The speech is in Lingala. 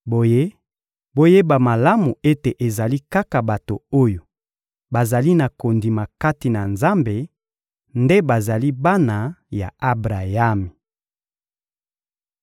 Boye, boyeba malamu ete ezali kaka bato oyo bazali na kondima kati na Nzambe nde bazali bana ya Abrayami.